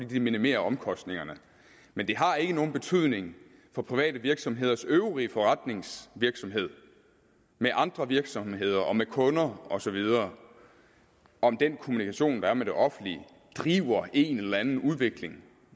det minimerer omkostningerne men det har ikke nogen betydning for private virksomheders øvrige forretningsvirksomhed med andre virksomheder og med kunder osv om den kommunikation der er med det offentlige driver en eller anden udvikling